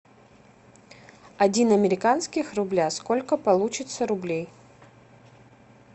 один американских рубля сколько получится рублей